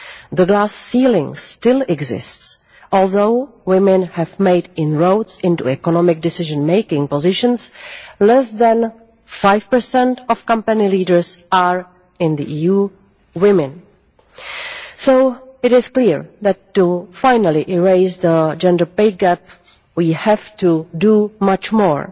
The glass ceiling still exists although women have made inroads into economic decision making positions, less than 5 of company leaders in the EU are women. So it is clear that to finally erase the gender pay gap, we have to do much more.